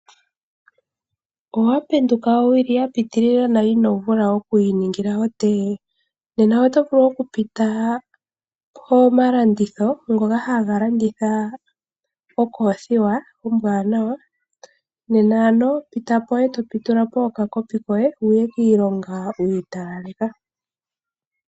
Owapenduka owili ya pitilila na ino vula oku iningila otee? nena oto vulu oku pita pomalandithilo ngoka ha ga landitha ookoothiwa ombwanawa nena ano pita po e to pitula po okakopi koye wuye kiilonga wi italaleka.